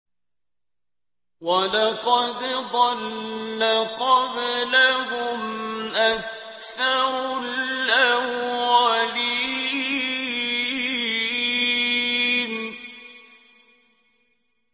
وَلَقَدْ ضَلَّ قَبْلَهُمْ أَكْثَرُ الْأَوَّلِينَ